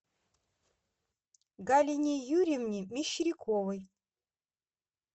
галине юрьевне мещеряковой